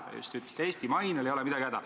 Te just ütlesite, et Eesti mainel ei ole midagi häda.